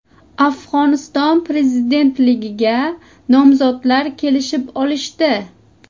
Afg‘oniston prezidentligiga nomzodlar kelishib olishdi.